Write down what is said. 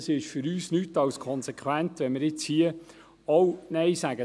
Es ist für uns nichts als konsequent, wenn wir zu diesem Kredit auch Nein sagen.